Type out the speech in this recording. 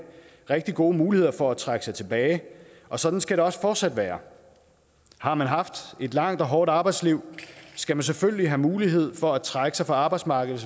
rigtig gode muligheder for at trække sig tilbage og sådan skal det også fortsat være har man haft et langt og hårdt arbejdsliv skal man selvfølgelig have mulighed for at trække sig fra arbejdsmarkedet